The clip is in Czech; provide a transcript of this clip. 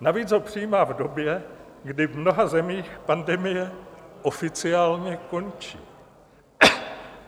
Navíc ho přijímá v době, kdy v mnoha zemích pandemie oficiálně končí.